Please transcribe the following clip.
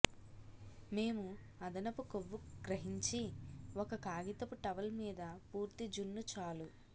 మేము అదనపు కొవ్వు గ్రహించి ఒక కాగితపు టవల్ మీద పూర్తి జున్ను చాలు